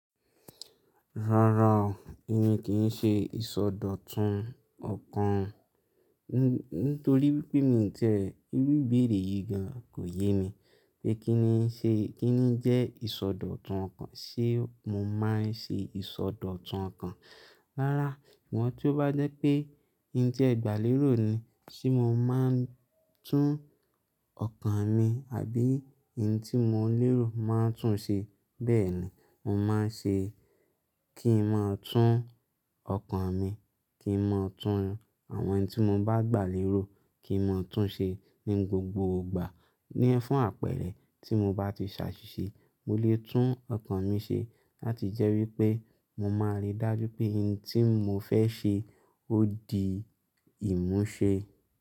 Rárá o, emi kìí ṣe ìsọdọ̀tun ọkàn, nítorí wípé mi ń tiẹ irú ìbéèrè yìí gan kò yé mi, pé kíni ṣe kíni jẹ́ ìsọdọ̀tun ọkàn, ṣe mo máa ń ṣe ìsọdọ̀tun ọkàn? Rárá, bọ̀n tí ó bá jẹ́ pé ń ti ẹ́ gbà léró ni se mo máa ń tún ọkàn mi àbí n tí mo lérò máa ń tún ṣe bẹ́ẹ̀ ni mo máa ṣe é. Kí máa tún ọkàn mi, kí máa tún àwọn ẹni tí mo bá gbàlérò kí máa tún ṣe ní gbogbo ìgbà. Ní fún àpẹẹrẹ tí mo bá ti ṣàṣìṣe mo lè tún ọkàn mi ṣe láti jẹ́ wípé mo máa ri dájú pé n tí mo fẹ́ ṣe ó di ìmúṣe.